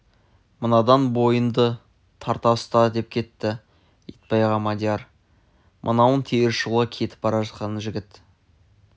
мынадан бойыңды тарта ұста деп кетті итбайға мадияр мынауың теріс жолға кетіп бара жатқан жігіт